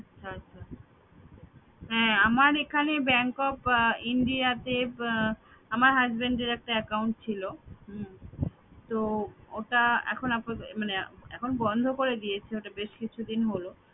আচ্ছা আচ্ছা। হ্যাঁ আমার এখানে bank of India তে আমার husband এর একটা account ছিল হম তো ওটা এখন আপাত~ মানে এখন বন্ধ করে দিয়েছে ওটা বেশ কিছুদিন হলো